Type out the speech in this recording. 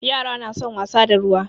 Yara na son wasa da ruwa.